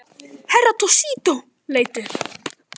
Herra Toshizo leit upp.